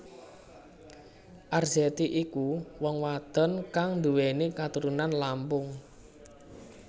Arzetti iku wong wadon kang nduwèni katurunan Lampung